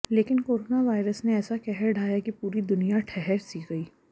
लेकिन corona virus ने ऐसा कहर ढाया कि पूरी दुनिया ठहर सी गई